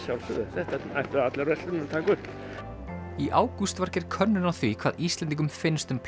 þetta ættu allar verslanir að taka upp í ágúst var gerð könnun á því hvað Íslendingum finnst um